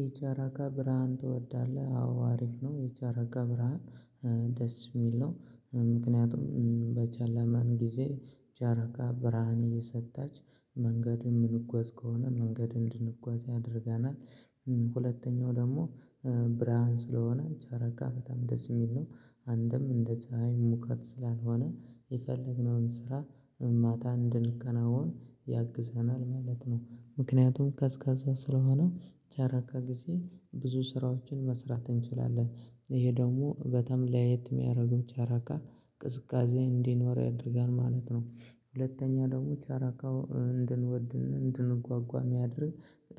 የጨረቃ ብርሃን ትወዳለህ? አዎ፣ አሪፍ ነው የጨረቃ ብርሃን። ደስ የሚል ነው፤ ምክንያቱም በጨለመ ጊዜ ጨረቃ ብርሃን እየሰጠች መንገድን የምንጓዝ ከሆነ መንገድ እንድንጓዝ ያደርገናል፤ ሁለተኛው ደግሞ ብርሃን ስለሆነ ጨረቃ በጣም ደስ የሚል ነው፤ አንድም እንደ ፀሀይ ሙቀት ስላልሆነ የፈለግነውን ስራ ታ እንድናከናውን ያግዘናል ማለት ነው፤ ምክንያቱም ቀዝቃዛ ስለሆነ የጨረቃ ጊዜ ብዙ ስራዎችን መስራት እንችላለን። ይሄ ደግሞ በጣም ለየት የሚያደርገው ጨረቃ ቅዝቃዜ እንዲኖር ያደርጋል ማለት ነው፤ ሁለተኛ ደግሞ ጨረቃው እንድንወድ፣ እንድንጓጓ የሚያደርግ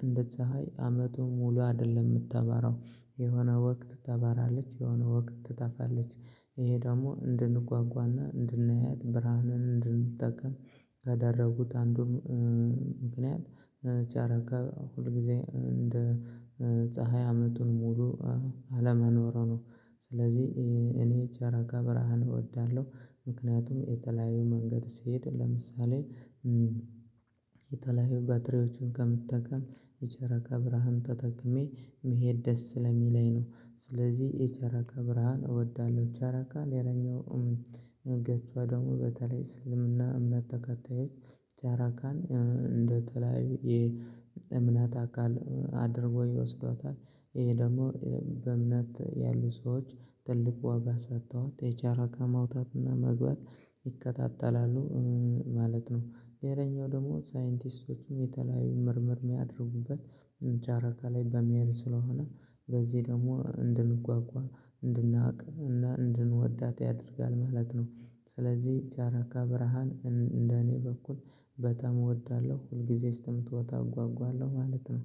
እንደ ፀሀይ አመቱን ሙሉ አይደለም የምታበራው፤ የሆነ ወቅት ታበራለች፣ የሆነ ወቅት ትጠፋለች። ይሄ ደግሞ እንድንጓጓና እንድናያት ብርሃንን እንድንጠቀም ካደረጉት አንዱን ምክንያቱም ጨረቃ ሁል ጊዜ እንደ ፀሀይ አመቱን ሙሉ አለመኖሯ ነው፤ ስለዚህ እኔ ጨረቃ ብርሃን እወዳለሁ፤ ምክንያቱም የተለያዩ መንገድ ስሄድ ለምሳሌ የተለያዩ ባትሪዎችን ከምጠቀም የጨረቃ ብርሃን ተጠቅሜ መሄድ ደስ ስለሚለኝ ነው፤ ስለዚህ የጨረቃ ብርሃን እወዳለሁ። ጨረቃ ሌላኛውም እንግዲያው ደግሞ፣ በተለይ እስልምና እምነት ተከታዮች ጨረቃን እንደተለያዩ የእምነት አካል አድርገው ይወስዷታል፤ ይሄ ደግሞ በእምነት ያሉ ሰዎች ትልቅ ዋጋ ሰጥተዋት፣ የጨረቃ መውጣትና መግባት ይከታተላሉ። ማለት ነው፤ ሌላኛው ደግሞ ሳይንቲስቶችም የተለያዩ ምርምር የሚያደርጉበት ጨረቃ ላይ በመሄድ ስለሆነ በዚህ ደግሞ እንድንጓጓ፣ እንድናውቅ እና እንድንወዳት ያደርጋል ማለት ነው፤ ስለዚህ ጨረቃ ብርሃን እንደኔ በኩል በጣም እወዳለሁ፣ ሁልጊዜ እስከምትወጣ እጓጓለሁ ማለት ነው።